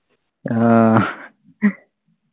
ആഹ്